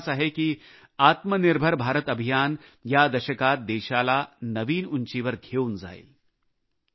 मला विश्वास आहे की आत्मनिर्भर भारत अभियान या दशकात देशाला नवीन उंचीवर घेऊन जाईल